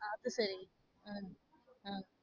அது சரி உம் உம்